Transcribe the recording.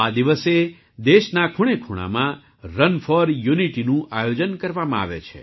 આ દિવસે દેશના ખૂણેખૂણામાં રન ફૉર યૂનિટીનું આયોજન કરવામાં આવે છે